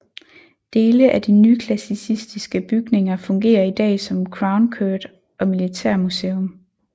Dele af de nyklassicistiske bygninger fungerer i dag som Crown Court og militærmuseum